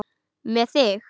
Með mig?